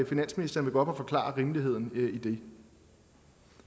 finansministeren vil gå op og forklare rimeligheden i det